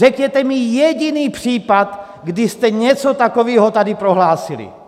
Řekněte mi jediný případ, kdy jste něco takového tady prohlásili!